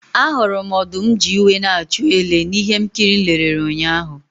Ahụrụ m ọdụm ji iwe na-achụ ele na ihe nkiri m lere ụnyahụ.